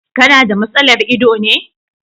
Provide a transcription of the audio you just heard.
Ka na da matsalar ido ne.